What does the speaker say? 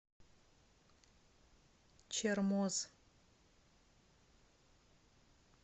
чермоз